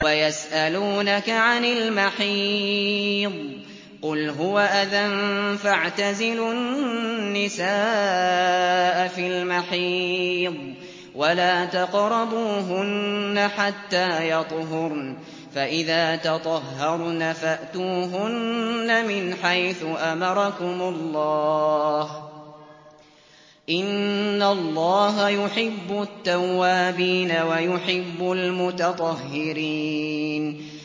وَيَسْأَلُونَكَ عَنِ الْمَحِيضِ ۖ قُلْ هُوَ أَذًى فَاعْتَزِلُوا النِّسَاءَ فِي الْمَحِيضِ ۖ وَلَا تَقْرَبُوهُنَّ حَتَّىٰ يَطْهُرْنَ ۖ فَإِذَا تَطَهَّرْنَ فَأْتُوهُنَّ مِنْ حَيْثُ أَمَرَكُمُ اللَّهُ ۚ إِنَّ اللَّهَ يُحِبُّ التَّوَّابِينَ وَيُحِبُّ الْمُتَطَهِّرِينَ